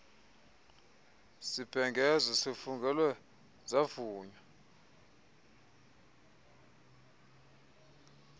sibhengezo sifungelwe savunywa